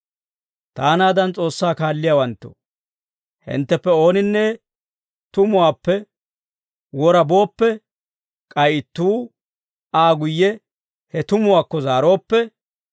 Taanaadan S'oossaa kaalliyaawanttoo, hintteppe ooninne tumuwaappe wora booppe, k'ay ittuu Aa guyye he tumuwaakko zaarooppe,